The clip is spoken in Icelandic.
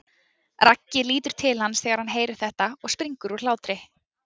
Raggi lítur til hans þegar hann heyrir þetta og springur af hlátri.